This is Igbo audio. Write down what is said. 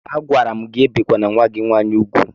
Agwara m gị ebikwele nwa gị nwaanyị úgwù!